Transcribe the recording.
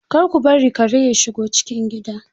Kar ku bari kare ya shigo cikin gida.